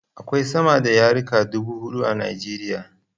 Akwai sama da yarika dubu huɗu a Nijeriya